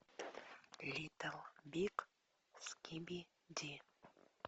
литл биг скибиди